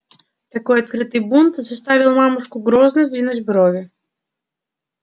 такой открытый бунт заставил мамушку грозно сдвинуть брови